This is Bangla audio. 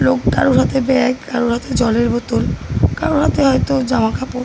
লোকটারও হাতে ব্যাগ কারোর হাতে জলের বোতল কারোর হাতে হয়তো জামাকাপড়।